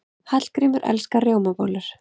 Hallgrímur elskar rjómabollur.